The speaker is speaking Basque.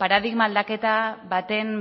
paradigma aldaketa baten